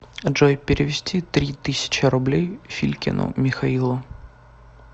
джой перевести три тысячи рублей филькину михаилу